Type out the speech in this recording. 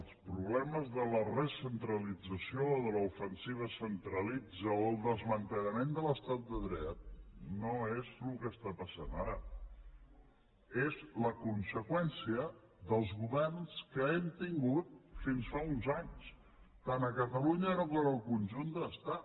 els problemes de la recentralització o de l’ofensiva centralitzadora o el desmantellament de l’estat de dret no és el que està passant ara és la conseqüència dels governs que hem tingut fins fa uns anys tant a catalunya com al conjunt de l’estat